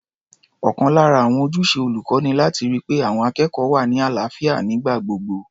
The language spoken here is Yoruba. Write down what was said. Ọ̀kan lára àwọn ojúṣe olùkọ́ ni láti ri pé àwọn akẹ́kọ̀ọ́ wà ní àlàáfíà nígbà gbogbo.